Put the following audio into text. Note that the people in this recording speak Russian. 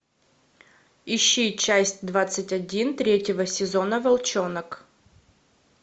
ищи часть двадцать один третьего сезона волчонок